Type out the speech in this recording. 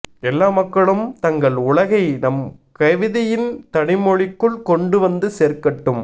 எல்லா மக்களும் தங்கள் உலகை நம் கவிதையின் தனிமொழிக்குள் கொண்டு வந்து சேர்க்கட்டும்